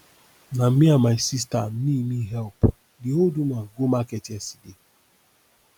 na me and my sista me me help di old woman go market yesterday